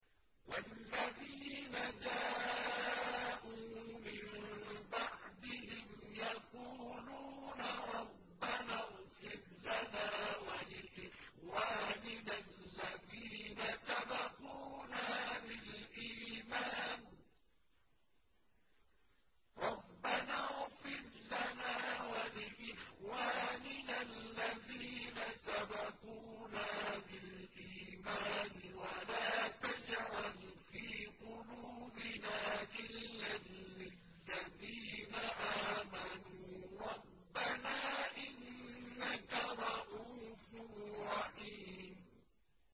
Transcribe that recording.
وَالَّذِينَ جَاءُوا مِن بَعْدِهِمْ يَقُولُونَ رَبَّنَا اغْفِرْ لَنَا وَلِإِخْوَانِنَا الَّذِينَ سَبَقُونَا بِالْإِيمَانِ وَلَا تَجْعَلْ فِي قُلُوبِنَا غِلًّا لِّلَّذِينَ آمَنُوا رَبَّنَا إِنَّكَ رَءُوفٌ رَّحِيمٌ